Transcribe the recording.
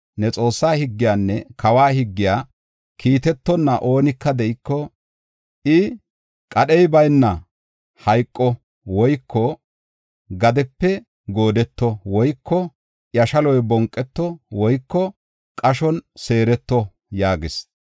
Ne Xoossaa higgiyanne kawa higgiya kiitetonna oonika de7iko, I qadhey bayna hayqo woyko gadepe goodeto woyko iya shaloy bonqeto woyko qashon seereto” yaagis.